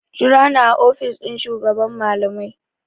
Jira ni a ofishin shugaban malamai!